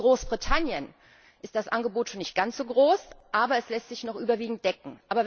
Auch in Großbritannien ist das Angebot schon nicht ganz so groß, aber es lässt sich noch überwiegend decken.